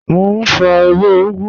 Mọ̀ n fọ̀ ẹwẹ̀ ugù